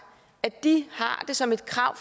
at de har det som et krav